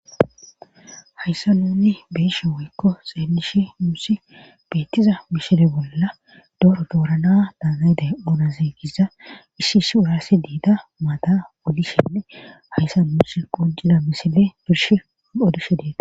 hayssa nunni beeshe woykko xeelishi musi beettiza mishile bolla dooro doorana daanayde onaziigiza ishshi ish wuraasi diida maada wolishenne hayssa birsh qujida misile birsh ol7odushe diida